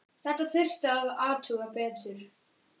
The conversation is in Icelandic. Þetta þurfti að athuga betur.